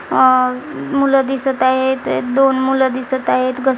अह मुलं दिसत आहेत दोन मुलं दिसत आहेत क--